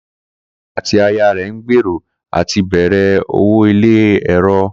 Kó̩láwo̩lé àti aya rè̩ ń gbèrò àti bèrè owo ilé èrò